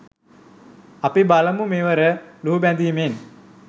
අපි බලමු මෙවර ලුහුබැඳීමෙන්